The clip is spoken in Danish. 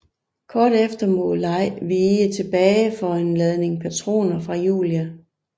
Kort efter må Lei vige tilbage for en ladning patroner fra Julia